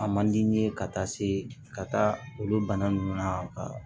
A man di n ye ka taa se ka taa olu bana ninnu na ka